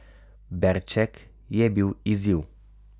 Berček je bil izziv.